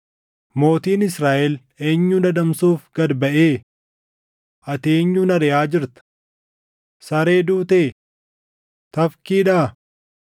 “Mootiin Israaʼel eenyun adamsuuf gad baʼee? Ati eenyuun ariʼaa jirta? Saree duutee? Tafkiidhaa?